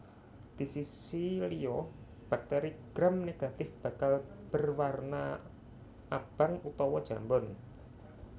Disisi liya bakteri gram negatif bakal berwarna abang utawa jambon